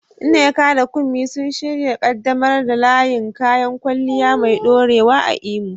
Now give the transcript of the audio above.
Nneka da Kunmi sun shirya ƙaddamar da layin kayan kwalliya mai ɗorewa a Imo